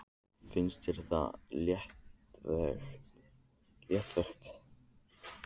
Finnst þér það léttvægt?